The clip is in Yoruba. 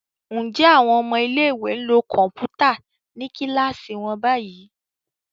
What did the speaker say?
Njé àwọn ọmọ ilé ìwé nlò Kọ̀ǹpútà ní kilasi wón bayí